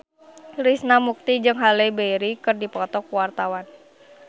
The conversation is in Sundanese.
Krishna Mukti jeung Halle Berry keur dipoto ku wartawan